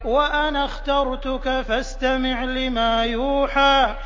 وَأَنَا اخْتَرْتُكَ فَاسْتَمِعْ لِمَا يُوحَىٰ